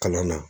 Kalan na